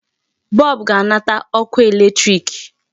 Bulb ga-anata ọkụ electric.